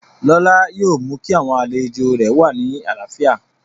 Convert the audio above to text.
Lọlá yóò mú kí àwọn àlejò rẹ̀ wà ní àlàáfíà